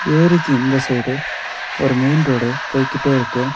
ஏரிக்கு இந்த சைடு ஒரு மெயின் ரோடு போய்க்கிட்டே இருக்கு.